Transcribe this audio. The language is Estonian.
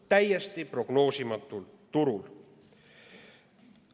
Täiesti prognoosimatul turul!